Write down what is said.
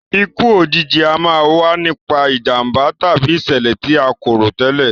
Ikú òjijì a máa wa nipa ìjànbá tàbí ìsẹ̀lẹ̀ ti a ko rò tẹ́lẹ̀